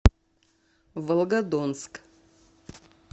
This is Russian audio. волгодонск